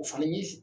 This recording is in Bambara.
O fana ye